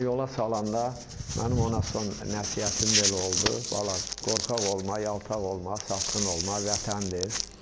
Yola salanda mənim ona son nəsihətim belə oldu: Valla, qorxaq olma, yaltaq olma, satqın olma, vətəndir.